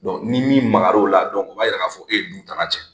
ni Maka la o la, u b'a yira k'a fɔ e ye du tana cɛn.